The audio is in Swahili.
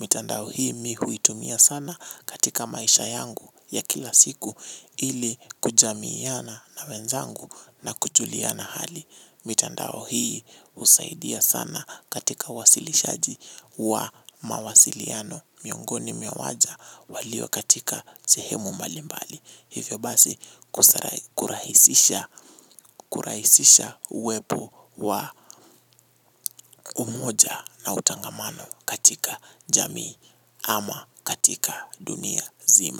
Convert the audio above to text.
Mitandao hii mi huitumia sana katika maisha yangu ya kila siku ili kujamiana na wenzangu na kujuliana hali. Mitandao hii husaidia sana katika wasilishaji wa mawasiliano miongoni mwa waja walio katika sehemu mbalimbali. Hivyo basi kurahisisha uwepo wa umoja na utangamano katika jamii ama katika dunia zima.